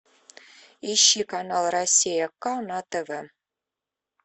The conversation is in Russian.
ищи канал россия к на тв